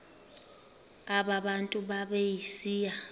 aba bantu babesiya